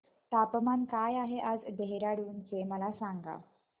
तापमान काय आहे आज देहराडून चे मला सांगा